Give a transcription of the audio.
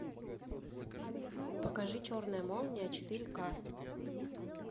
покажи черная молния четыре ка